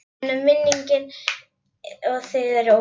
En minningin um þig er ósennileg.